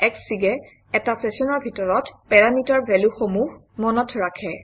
Xfig এ এটা চেচনৰ ভিতৰত পেৰামিটাৰ ভেলুসমূহ মনত ৰাখে